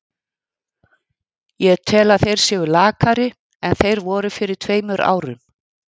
Ég tel að þeir séu lakari en þeir voru fyrir tveimur árum.